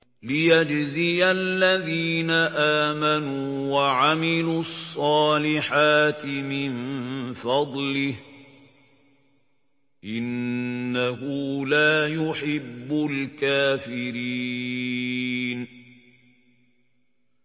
لِيَجْزِيَ الَّذِينَ آمَنُوا وَعَمِلُوا الصَّالِحَاتِ مِن فَضْلِهِ ۚ إِنَّهُ لَا يُحِبُّ الْكَافِرِينَ